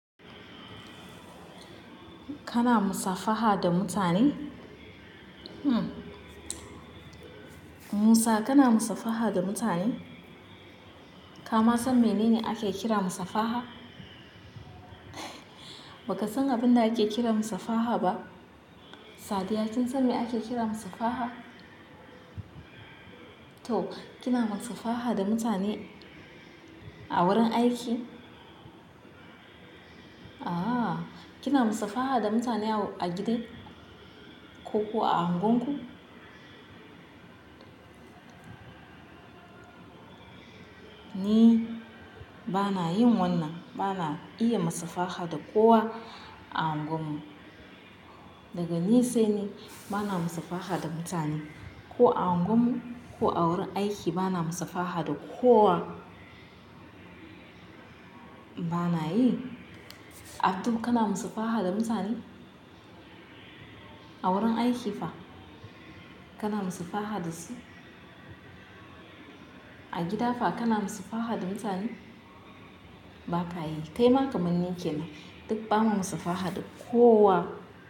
Kana musafaha da mutane? Musa kana musafaha da mutane? Kama san menene ake kira musafaha? Baka san abinda ake kira musafaha ba? Sadiya kin san me ake kira musafaha? To kina musafaha da mutane a wurin aiki? Aaa kina musafaha da mutane a gida, ko ko a unguwanku? Ni bana yin wannan, bana iya musafaha da kowa a unguwar mu. Daga ni sai ni bana musafaha da mutane ko a unguwar mu ko a wurin aiki bana musafaha da kowa. Bana yi. Abdu kana musafaha da mutane? A wurin aiki fa kana musafaha da su? A gida fa kana musafaha da mutane? Baka yi, kaima kamar ni kenan duk ba mu musafaha da kowa.